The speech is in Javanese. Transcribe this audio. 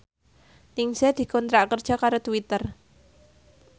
Ningsih dikontrak kerja karo Twitter